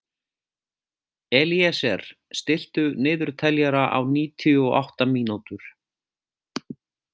Elíeser, stilltu niðurteljara á níutíu og átta mínútur.